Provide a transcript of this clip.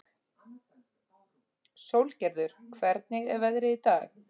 Sólgerður, hvernig er veðrið í dag?